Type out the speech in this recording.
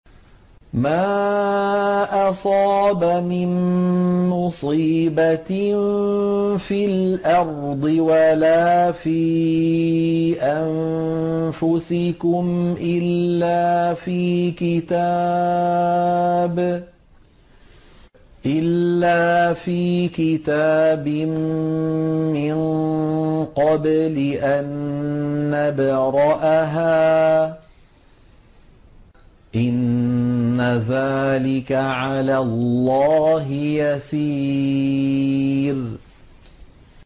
مَا أَصَابَ مِن مُّصِيبَةٍ فِي الْأَرْضِ وَلَا فِي أَنفُسِكُمْ إِلَّا فِي كِتَابٍ مِّن قَبْلِ أَن نَّبْرَأَهَا ۚ إِنَّ ذَٰلِكَ عَلَى اللَّهِ يَسِيرٌ